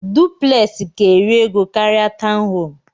Duplex ka eri ego karia tọwn home.